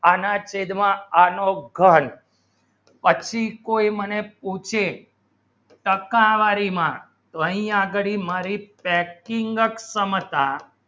અને તેજ માં એનો ઘણ પછી કોઈ મને પૂછે ટક્કા વારી માં કઈ આગળી મારી packing ચ સમતા